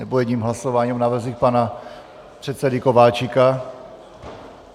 Nebo jedním hlasováním o návrzích pana předsedy Kováčika?